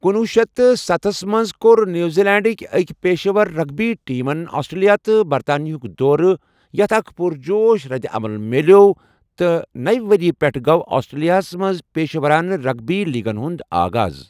کنۄہ شیتھ تہٕ ستھَ منٛز کوٚر نیوزی لینڈٕکہِ أکہِ پیشہٕ ور رگبی ٹیمن آسٹریلیا تہٕ برطانیہ ہُک دورٕ، یتھ اکھ پُرجوش ردعمل میٛلیوو، تہٕ نوِ ؤریہِ پٮ۪ٹھٕ گوٚو آسٹریلیاہس منٛز پیشہٕ ورانہٕ رگبی لیگن ہُنٛد آغاز۔